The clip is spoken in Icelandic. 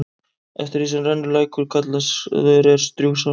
Eftir því rennur lækur, sem kallaður er Strjúgsá.